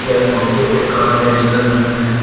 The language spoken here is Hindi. यह फोटो एक कार गैरेज का लगता है।